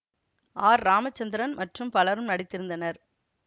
R Ramachandran மற்றும் பலரும் நடித்திருந்தனர்